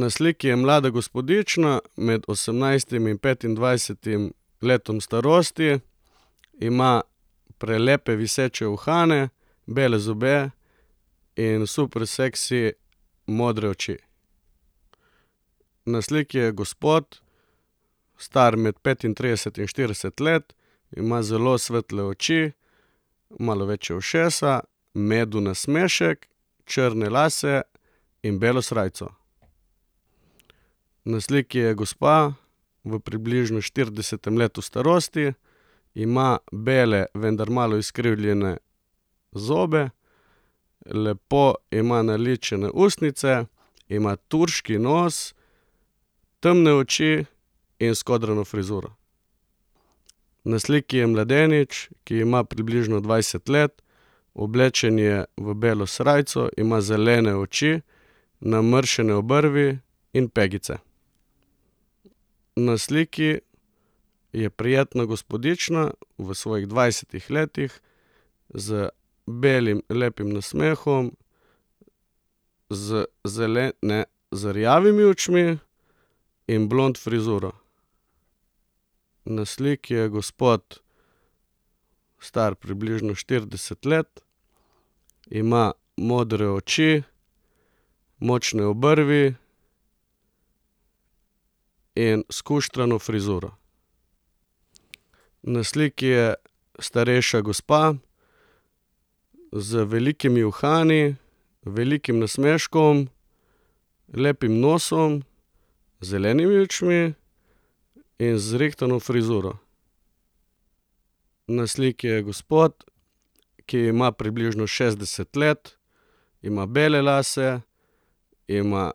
Na sliki je mlada gospodična med osemnajstim in petindvajsetim letom starosti. Ima prelepe viseče uhane, bele zobe in super seksi modre oči. Na sliki je gospod, star med petintrideset in štirideset let. Ima zelo svetle oči, malo večja ušesa, medel nasmešek, črne lase in belo srajco. Na sliki je gospa v približno štiridesetem letu starosti. Ima bele, vendar malo izkrivljene zobe, lepo ima naličene ustnice, ima turški nos, temne oči in skodrano frizuro. Na sliki je mladenič, ki ima približno dvajset let. Oblečen je v belo srajco, ima zelene oči, namrščene obrvi in pegice. Na sliki je prijetna gospodična v svojih dvajsetih letih z belim lepim nasmehom, z ne, z rjavimi očmi in blond frizuro. Na sliki je gospod, star približno štirideset let. Ima modre oči, močne obrvi in skuštrano frizuro. Na sliki je starejša gospa z velikimi uhani, velikim nasmeškom, lepim nosom, zelenimi očmi in z zrihtano frizuro. Na sliki je gospod, ki ima približno šestdeset let. Ima bele lase, ima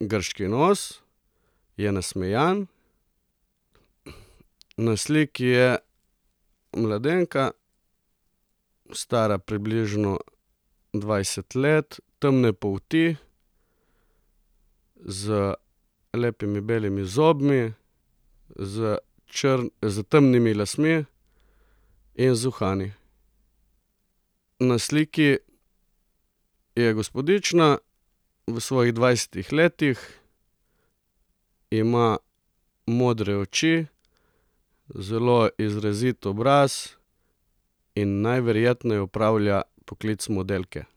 grški nos, je nasmejan. Na sliki je mladenka, stara približno dvajset let, temne polti, z lepimi belimi zobmi, z s temnimi lasmi in z uhani. Na sliki je gospodična v svojih dvajsetih letih. Ima modre oči, zelo izrazit obraz in najverjetneje opravlja poklic modelke.